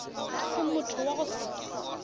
ke motho wa go se